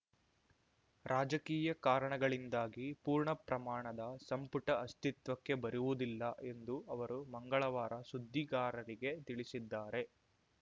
ರಾಜಕೀಯ ಕಾರಣಗಳಿಂದಾಗಿ ಪೂರ್ಣ ಪ್ರಮಾಣದ ಸಂಪುಟ ಅಸ್ತಿತ್ವಕ್ಕೆ ಬರುವುದಿಲ್ಲ ಎಂದು ಅವರು ಮಂಗಳವಾರ ಸುದ್ದಿಗಾರರಿಗೆ ತಿಳಿಸಿದ್ದಾರೆ